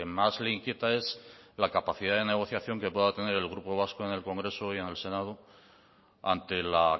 más le inquieta es la capacidad de negociación que pueda tener el grupo vasco en el congreso y en el senado ante la